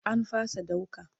An fasa ɗauka.